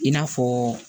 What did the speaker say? I n'a fɔ